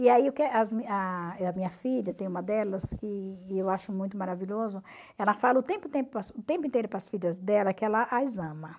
E aí a a minha filha, tem uma delas que eu acho muito maravilhosa, ela fala o tempo tempo o tempo inteiro para as filhas dela que ela as ama.